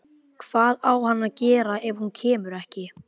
Hvað á hann að gera ef hún kemur ekki?